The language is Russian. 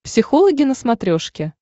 психологи на смотрешке